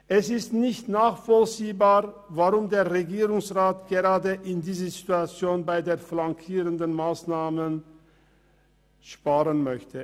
Es ist nicht nachvollziehbar, weshalb der Regierungsrat gerade in dieser Situation bei den flankierenden Massnahmen sparen möchte.